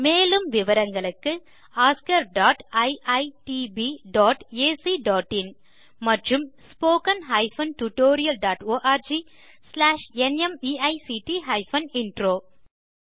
மேலும் விவரங்களுக்கு oscariitbacஇன் மற்றும் spoken tutorialorgnmeict இன்ட்ரோ